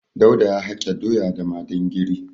Dauda ya hake doya da madingiri.